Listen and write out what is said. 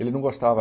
Ele não gostava.